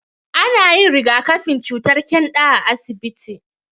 Ana yin rigakafin cutar ƙyanda a asibiti.